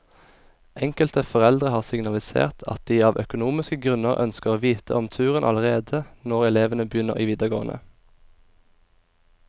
Enkelte foreldre har signalisert at de av økonomiske grunner ønsker å vite om turen allerede når elevene begynner i videregående.